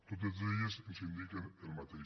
totes elles ens indiquen el mateix